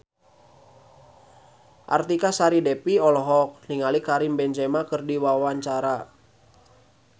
Artika Sari Devi olohok ningali Karim Benzema keur diwawancara